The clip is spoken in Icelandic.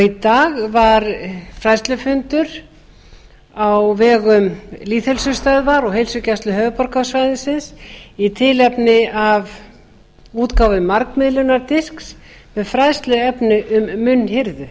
í dag var fræðslufundur á vegum lýðheilsustöðvar og heilsugæslu höfuðborgarsvæðisins í tilefni af útgáfu margmiðlunardisks um fræðsluefni um munnhirðu